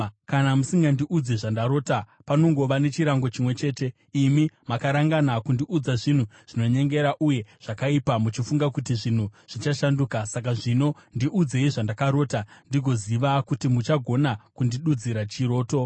Kana musingandiudzi zvandarota, panongova nechirango chimwe chete. Imi makarangana kundiudza zvinhu zvinonyengera uye zvakaipa, muchifunga kuti zvinhu zvichashanduka. Saka zvino, ndiudzei zvandakarota, ndigoziva kuti muchagona kundidudzira chiroto.”